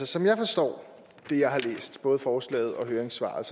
som jeg forstår det jeg har læst både forslaget og høringssvaret